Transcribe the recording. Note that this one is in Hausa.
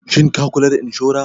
Shin ka kula da inshora?